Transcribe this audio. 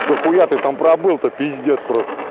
дохуя ты там пробыл то пиздец простл